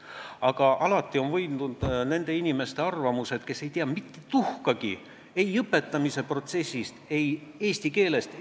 Aga alati on võitnud nende inimeste arvamused, kes ei tea mitte tuhkagi ei õpetamise protsessist, ei eesti keelest.